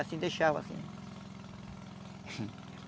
Assim, deixava assim.